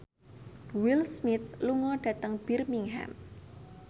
Will Smith lunga dhateng Birmingham